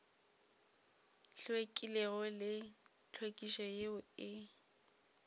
hlwekilego le tlhwekišo yeo e